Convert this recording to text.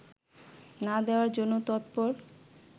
না দেওয়ার জন্য তৎপর